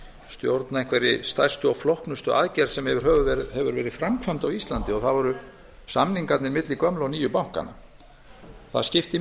stjórna einhverri stærstu og flóknustu aðgerð sem yfir höfuð hefur verið framkvæmd á íslandi og það voru samningarnir milli gömlu og nýju bankanna það skipti